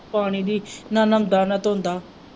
ਪਾਣੀ ਦੀ ਨਾ ਨਹਾਉਂਦਾ ਨਾ ਧੋਂਦਾ।